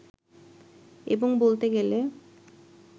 এবং বলতে গেলে